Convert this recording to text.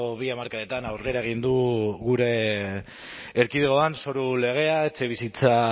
bi hamarkadetan aurrera egin du gure erkidegoan zoru legea etxebizitza